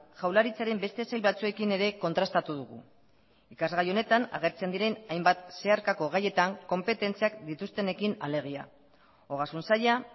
jaurlaritzaren beste sail batzuekin ere kontrastatu dugu ikasgai honetan agertzen diren hainbat zeharkako gaietan konpetentziak dituztenekin alegia ogasun saila